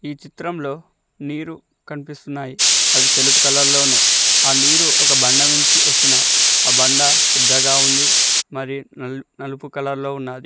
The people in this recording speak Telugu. ఈ చిత్రంలో నీరు కనిపిస్తున్నాయి అవి తెలుపు కలర్ లో ఉన్నాయి ఆ నీరు ఒక బండ నుంచి వస్తున్నాయి ఆ బండ పెద్దగా ఉంది మరియు నాలు నలుపు కలర్ లో ఉన్నాది.